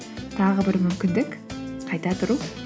тағы бір мүмкіндік қайта тұру